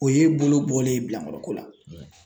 O y'e bolo bɔlen ye bilankɔrɔko la.